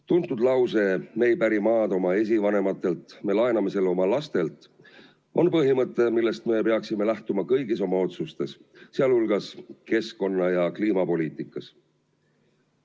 Tuntud lause "Me ei päri maad oma esivanematelt, me laename selle oma lastelt" on põhimõte, millest me peaksime lähtuma kõigis oma otsustes, sh keskkonna- ja kliimapoliitikas.